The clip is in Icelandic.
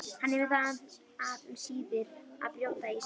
Hann hefur það af um síðir að brjóta ísinn.